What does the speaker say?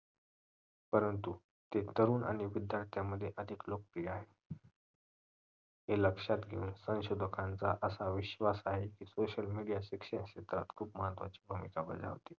परंतु हे तरुण आणि विद्यार्थ्यांमध्ये अधिक लोकप्रिय आहे हे लक्ष्यात घेऊन संशोधकाचा असा विश्वास आहे की social media शिक्षणामध्ये खूप महत्वाची भूमिका बजावते